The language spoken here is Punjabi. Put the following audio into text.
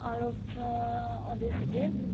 all of the ਉਹਦੇ ਸੀਗੇ